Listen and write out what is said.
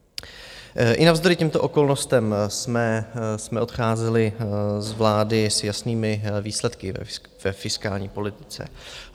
I navzdory těmto okolnostem jsme odcházeli z vlády s jasnými výsledky ve fiskální politice.